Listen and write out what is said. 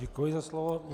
Děkuji za slovo.